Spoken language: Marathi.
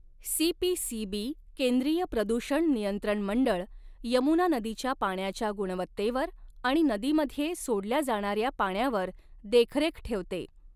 सीपीसीबी केंद्रीय प्रदूषण नियंत्रण मंडऴ यमुना नदीच्या पाण्याच्या गुणवत्तेवर आणि नदीमध्ये सोडल्या जाणाऱ्या पाण्यावर देखरेख ठेवते.